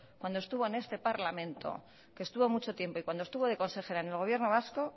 cuando estuvo en este parlamento que estuvo mucho tiempo y cuando estuvo de consejera en el gobierno vasco